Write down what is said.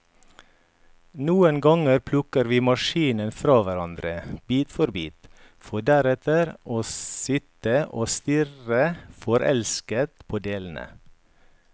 Noen ganger plukker vi maskinen fra hverandre, bit for bit, for deretter å sitte og stirre forelsket på delene.